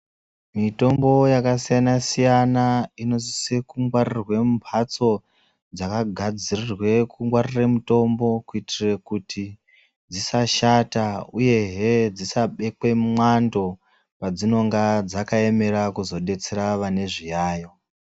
Mitombo yakasiyana siyana inosise kungwarirwe mumhatso dzakagadzurirwe kungwarire mutombo kuitire kuti dzisashata uyehe dzisabekwe mumwando padzinonga dzakaemera kuzodetsera vane zviyayo.